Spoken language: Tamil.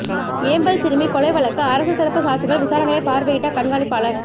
ஏம்பல் சிறுமி கொலை வழக்குஅரசுத் தரப்பு சாட்சிகள் விசாரணையை பாா்வையிட்ட கண்காணிப்பாளா்